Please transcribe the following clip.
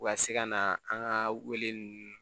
U ka se ka na an ka wele nunnu